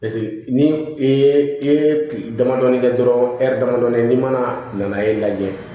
ni i ye i ye damadɔɔni kɛ dɔrɔn damadɔnin n'i ma na e lajɛ